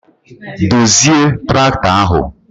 Dozie tractọ ahụ!